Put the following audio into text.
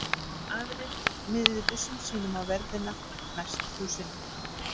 Aðrir miðuðu byssum sínum á verðina næst húsinu.